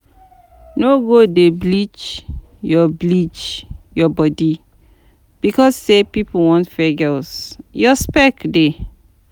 No go dey bleach your bleach your body becos say pipo want fair girls, your spec dey